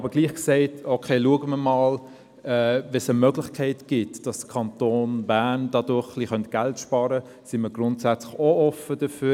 Wenn es aber eine Möglichkeit gibt, dass der Kanton Bern dadurch etwas Geld sparen könnte, sind wir grundsätzlich trotzdem offen dafür.